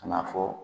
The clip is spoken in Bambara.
Ka n'a fɔ